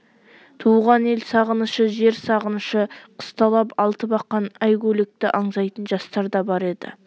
туған ел сағынышы жер сағынышы қысталап алтыбақан әйгөлекті аңсайтын жастар да бар еді